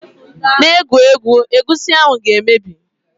Just de play, the egusi soup wi soon spoil